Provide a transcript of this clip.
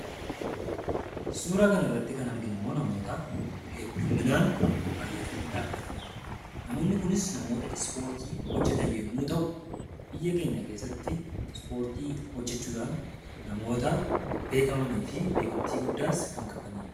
Suuraa kanarratti kan arginummoo namoota heddumminaan baay'atanii dhaabbatanidha. Namoonni kunis namoota ispoortii irra jiran yoo ta'u, biyya keenya keessatti ispoortii hojjachuudhaan namoota beekamanii fi beekamtii guddaa qabanidha.